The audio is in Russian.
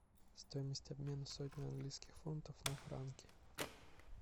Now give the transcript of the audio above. стоимость обмена сотни английских фунтов на франки